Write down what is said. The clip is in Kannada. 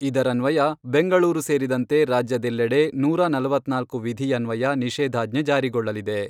ಇದರನ್ವಯ ಬೆಂಗಳೂರು ಸೇರಿದಂತೆ ರಾಜ್ಯದೆಲ್ಲೆಡೆ ನೂರಾ ನಲವತ್ನಾಲ್ಕು ವಿಧಿಯನ್ವಯ ನಿಷೇಧಾಜ್ಞೆ ಜಾರಿಗೊಳ್ಳಲಿದೆ.